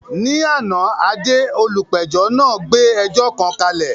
Ní àná, Ade, olùpẹ̀jọ́ náà gbé ẹjọ́ kan kalẹ̀.